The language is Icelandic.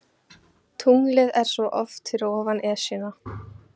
Tunglið er svo oft fyrir ofan Esjuna.